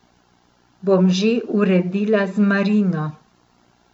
Bom že uredila z Marino.